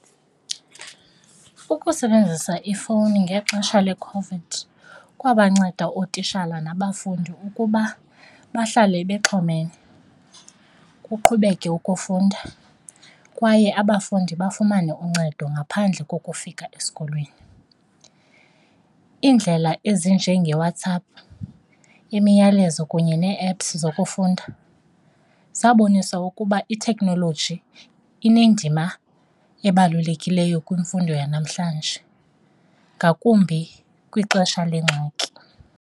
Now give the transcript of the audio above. Ukusebenzisa ifowuni ngexesha leCOVID kwabanceda ootishala nabafundi ukuba bahlale bexhomene, kuqhubeke ukufunda kwaye abafundi bafumane uncedo ngaphandle kokufika esikolweni. Iindlela ezinje ngeWhatsApp, imiyalezo kunye nee-apps zokufunda zabonisa ukuba itekhnoloji inendima ebalulekileyo kwimfundo yanamhlanje, ngakumbi kwixesha lengxaki.